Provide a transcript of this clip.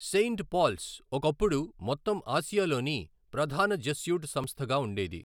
Saint Paul's ఒకప్పుడు మొత్తం ఆసియాలోని ప్రధాన జెస్యూట్ సంస్థగా ఉండేది.